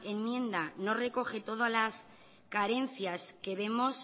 enmienda no recoge todas las carencias que vemos